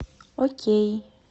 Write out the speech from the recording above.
окей